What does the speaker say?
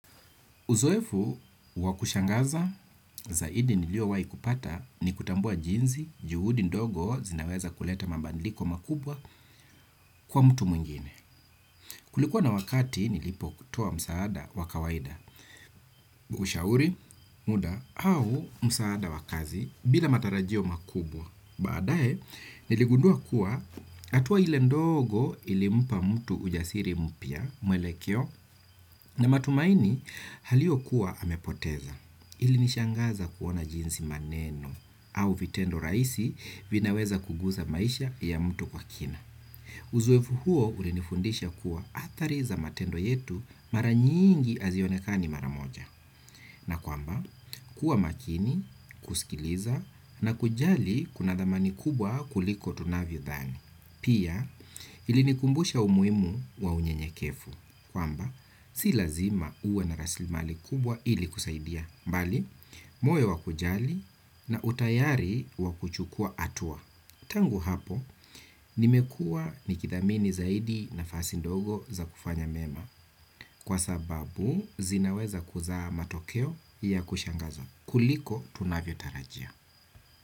Uzoefu wa kushangaza zaidi niliowai kupata ni kutambua jinzi, juhudi ndogo zinaweza kuleta mambandiliko makubwa kwa mtu mwingine. Kulikuwa na wakati nilipokutoa msaada wa kawaida, ushauri, muda, au msaada wa kazi bila matarajio makubwa. Baadae niligundua kuwa atua ile ndogo ilimpa mtu ujasiri mpya mwelekeo na matumaini haliokuwa amepoteza. Ilinishangaza kuona jinsi maneno au vitendo raisi vinaweza kuguza maisha ya mtu kwa kina. Uzoefu huo ulinifundisha kuwa athari za matendo yetu mara nyingi azionekani mara moja. Na kwamba, kuwa makini, kusikiliza na kujali kuna thamani kubwa kuliko tunavyodhani. Pia, ilinikumbusha umuimu wa unyenyekefu. Kwamba, si lazima uwe na raslimali kubwa ili kusaidia. Mbali, moyo wa kujali na utayari wa kuchukua atua. Tangu hapo, nimekua nikithamini zaidi nafasi ndogo za kufanya mema. Kwa sababu, zinaweza kuzaa matokeo ya kushangaza. Kuliko, tunavyo tarajia.